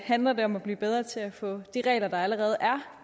handler det om at blive bedre til at få de regler der allerede er